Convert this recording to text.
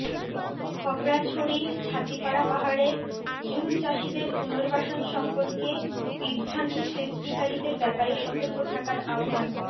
খাগড়াছড়ির ছাতিপাড়া পাহাড়ের জুমচাষীদের পুনর্বাসন সম্পর্কে বিভ্রান্তি সৃষ্টিকারীদের ব্যাপারে সতর্ক থাকার আহ্বান